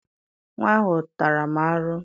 Nwa ahụ tara m arụ